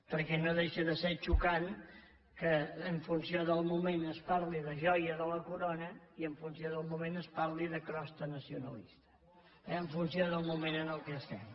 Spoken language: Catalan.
perquè no deixa de ser xocant que en funció del moment es parli de joia de la corona i en funció del moment es parli de crosta nacionalista eh en funció del moment en què estem